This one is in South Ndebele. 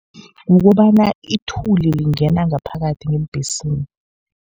Kukobana ithuli lingena ngaphakathi ngeembhesini.